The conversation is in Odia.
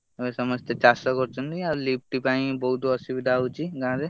ହଉ ସମସ୍ତେ ଚାଷ କରୁଛନ୍ତି ଆଉ lift ପାଇଁ ବହୁତ୍ ଅସୁବିଧା ହଉଛି ଗାଁ ରେ।